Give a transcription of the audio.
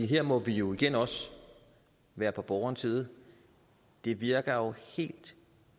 her må vi jo igen også være på borgerens side det virker jo helt